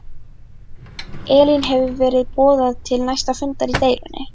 Elín hefur verið boðað til næsta fundar í deilunni?